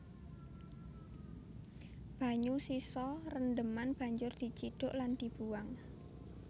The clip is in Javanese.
Banyu sisa rendheman banjur dicidhuk lan dibuwang